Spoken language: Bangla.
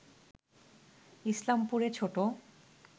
ইসলামপুরে ছোট